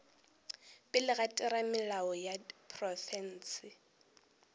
pele ga theramelao ya profense